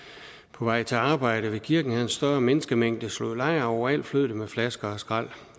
på vej til arbejde ved kirken havde en større menneskemængde slået lejr og overalt flød det med flasker og skrald